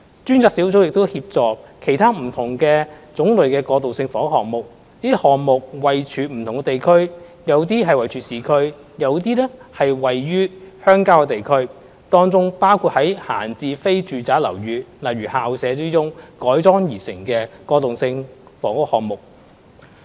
專責小組亦正協助其他不同種類的過渡性房屋項目，這些項目位處不同地區，有些位處市區，有些則位於鄉郊地區，當中包括於閒置非住宅樓宇中改裝而成的過渡性房屋項目。